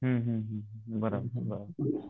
हुन हुन बरोबर बरोबर